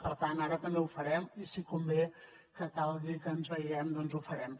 per tant ara també ho farem i si convé que calgui que ens veiem doncs ho farem